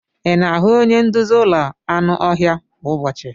Ị na-ahụ onye nduzi ụlọ anụ ọhịa kwa ụbọchị?